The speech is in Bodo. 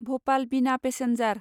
भ'पाल बिना पेसेन्जार